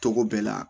Togo bɛɛ la